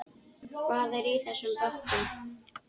Hvað er í þessum bökkum?